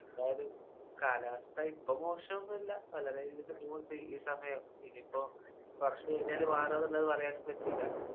എന്തായാലും കാലാവസ്ഥ ഇപ്പൊ മോശൊന്നും അല്ല വളരെ ഇതില്‍ പോണെണ്ട് ഈ സമയം. ഇനീപ്പോ കൊറച്ച് കഴിഞ്ഞാല് മാറോന്നുള്ളത് പറയാനും പറ്റൂല.